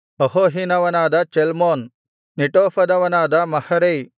ಅಹೋಹಿನವನಾದ Zalmon ನೆಟೋಫದವನಾದ Maharai